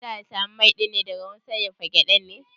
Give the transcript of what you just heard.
Za'a samu mai ɗin daga wurin sarrafa gyaɗan ne?